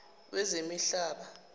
wezemihlaba